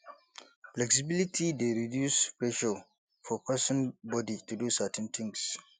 flexibility dey reduce pressure for person body to do certain things